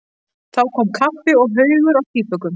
Þá kom kaffi og haugur af tvíbökum.